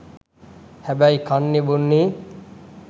හැබැයි කන්නෙ බොන්නෙ